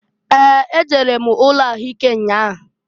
Ee! E jere m ụlọ ahụ ike nnya a.